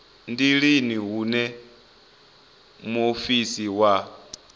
ndi lini hune muofisi wa